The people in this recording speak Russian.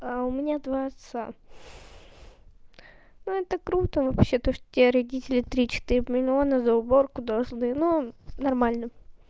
а у меня два отца ну это круто вообще то что тебе родители три четыре миллиона за уборку должны ну нормально